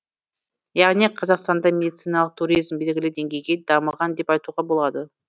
яғни қазақстанда медициналық туризм белгілі деңгейде дамыған деп айтуға болады